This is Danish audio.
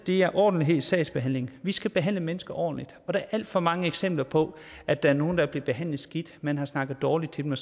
er ordentlighed i sagsbehandlingen vi skal behandle mennesker ordentligt der er alt for mange eksempler på at der er nogen der er blevet behandlet skidt man har snakket dårligt til dem og